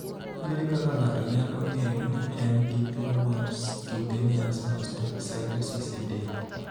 Ere kaka ng'ato nyalo ng'eyo ni en gi tuwo mar cutaneous mastocytosis e del?